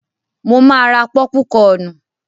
Mo máa ra pọ́púkọnù.